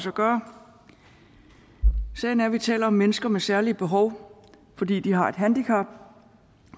at gøre sagen er at vi taler om mennesker med særlige behov fordi de har et handicap